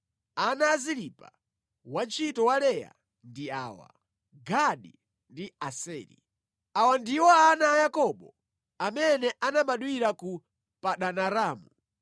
Ana a Zilipa wantchito wa Leya ndi awa: Gadi ndi Aseri. Awa ndiwo ana a Yakobo amene anabadwira ku Padanaramu.